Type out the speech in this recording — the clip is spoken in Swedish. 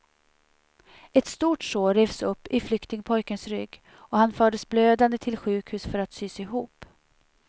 Ett stort sår revs upp i flyktingpojkens rygg, och han fördes blödande till sjukhus för att sys ihop.